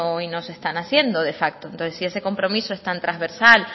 y no se están haciendo de facto entonces si ese compromiso es tan trasversal